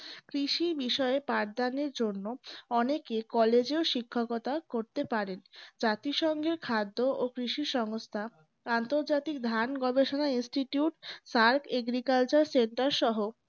কৃষি বিষয়ে উপাদানের জন্য অনেকে কলেজেও শিক্ষকতা করতে পারেন। জাতিসংঘের খাদ্য ও কৃষি সংস্থা আন্তর্জাতিক ধান গবেষণা institutes agricultural centre সহ